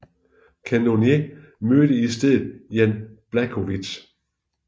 Cannonier mødte i stedet Jan Błachowicz